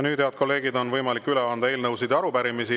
Nüüd, head kolleegid, on võimalik üle anda eelnõusid ja arupärimisi.